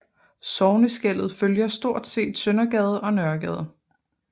Sogneskellet følger stort set Søndergade og Nørregade